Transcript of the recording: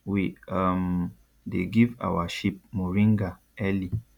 we um dey give our sheep moringa early